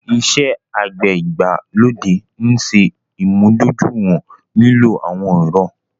Ìṣẹ̀ àgbẹ̀ igbalodè nṣè imúdọ̀júìwọ̀n lílò awọn èrọ̀